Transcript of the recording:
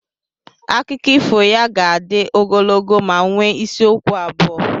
Akụkọ ifo ya ga-adị ogologo ma nwee isi okwu abụọ.